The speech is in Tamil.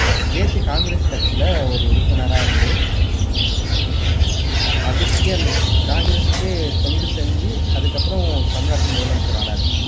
தேசிய காங்கிரஸ் கட்சியில ஒரு உறுப்பினரா இருந்து அதுக்கே அந்த காங்கிரஸ்க்கே தொண்டு செஞ்சு அதுக்கப்புறம் தமிழ்நாட்டின் முதலமைச்சர் ஆனாரு